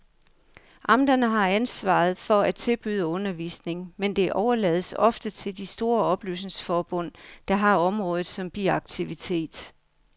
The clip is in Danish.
Amterne har ansvaret for at tilbyde undervisning, men det overlades ofte til de store oplysningsforbund, der har området som biaktivitet.